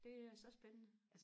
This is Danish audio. det er så spændende